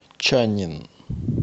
чаннин